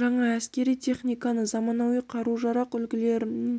жаңа әскери техниканы заманауи қару-жарақ үлгілерін